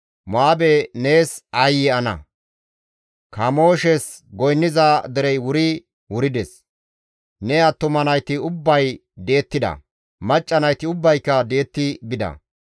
Mo7aabe nees aayye ana! Kamooshes goynniza derey wuri wurides. Ne attuma nayti ubbay di7ettida; macca nayti ubbayka di7etti bida.